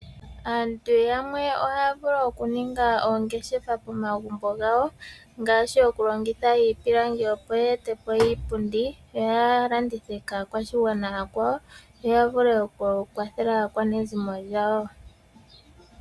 Aantu yamwe ohaya vulu okuninga oongeshefa pomagumbo gawo, ngaashi okulongitha iipilangi opo ye ete po iipundi yo ya landithe kaakwashigwana aakwawo yo ya vule okukwathela aakwanezimo lyawo.